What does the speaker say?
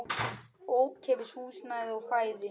Ókeypis húsnæði og fæði.